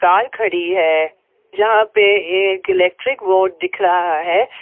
Car खड़ी है जहां पे एक इलेक्ट्रिक बोर्ड दिख रहा है।